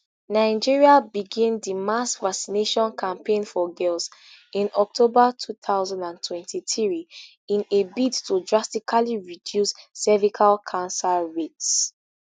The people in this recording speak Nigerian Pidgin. nigeria begin di mass vaccination campaign for girls in october two thousand and twenty-three in a bid to drastically reduce cervical cancer rates